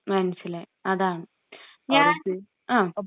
മനസിലായി, അതാണ്..ഞാൻ...ങ്..